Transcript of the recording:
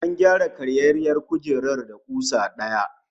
An gyara karyayyiyar kujerar da kusa daya